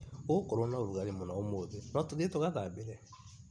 Gũgũkorwo na ũrũgarĩ mũno ũmũthĩ, no tũthiĩ tũgathambĩre?